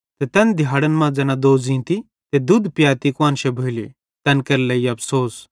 तैन दिहाड़न मां ज़ैना दोज़ींती त दुध पियाती कुआन्श भोली तैन केरे लेइ अफ़सोस